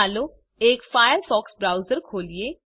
ચાલો એક Firefox browser ખોલીએ